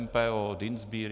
MPO, Dienstbier?